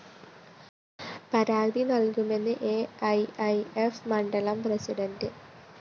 പിക്കും പരാതി നല്‍കുമെന്ന് അ ഇ ഇ ഫ്‌ മണ്ഡലം പ്രസിഡന്റ് പി